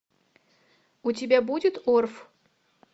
у тебя будет орф